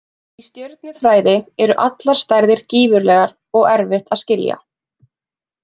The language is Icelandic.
Í stjörnufræði eru allar stærðir gífurlegar og erfitt að skilja.